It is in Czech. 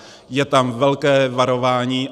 Je tam velké varování.